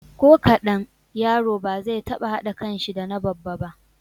Ko kaɗan, yaro ba zai taɓa haɗa kanshi da na babba ba.